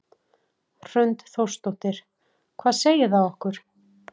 Hrund Þórsdóttir: Hvað segir það okkur?